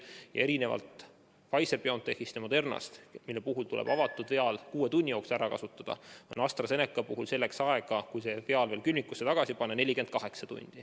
Ja erinevalt Pfizer-BioNTechist ja Modernast, mille puhul tuleb avatud viaal kuue tunni jooksul ära kasutada, on AstraZeneca puhul aega, et viaal külmikusse tagasi panna, 48 tundi.